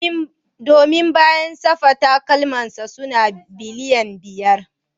Domin ba ya sa safa, takalmansa suna balayin wari